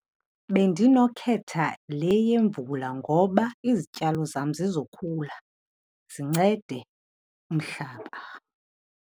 Bendinokhetha le yemvula ngoba izityalo zam zizokhula zincede umhlaba.